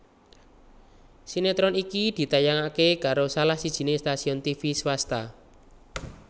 Sinetron iki ditayangaké karo salah sijiné stasiun tivi swasta